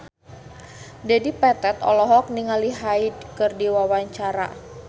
Dedi Petet olohok ningali Hyde keur diwawancara